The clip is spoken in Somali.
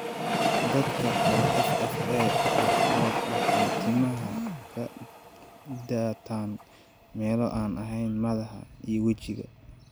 Dadka qaba FFA qaarkood waxay timaha ka daataan meelo aan ahayn madaxa iyo wejiga.